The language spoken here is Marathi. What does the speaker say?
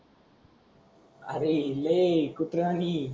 अरे लय कुत्र्यांनी.